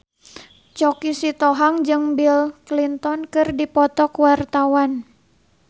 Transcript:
Choky Sitohang jeung Bill Clinton keur dipoto ku wartawan